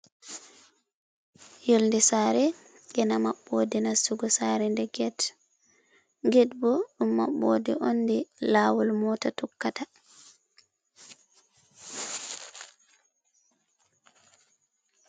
Yonde sare gena maɓɓode nastugo sare nde get. Get bo ɗum maɓɓode nde lawol mota tokkata.